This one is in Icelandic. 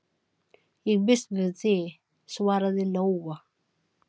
Ég býst við því, svaraði Lóa.